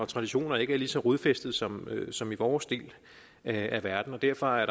traditioner ikke er lige så rodfæstet som som i vores del af verden og derfor er